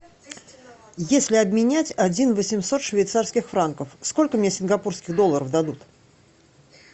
если обменять один восемьсот швейцарских франков сколько мне сингапурских долларов дадут